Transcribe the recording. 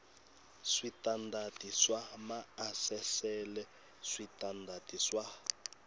switandati swa maasesele switandati swa